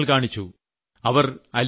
അവർ എന്നെ ചിത്രങ്ങൾ കാണിച്ചു